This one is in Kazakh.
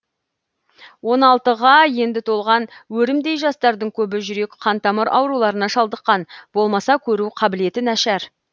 он алтыға енді толған өрімдей жастардың көбі жүрек қантамыр ауруларына шалдыққан болмаса көру қабілеті нашар